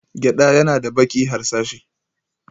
Gyada yana da baki harsashi.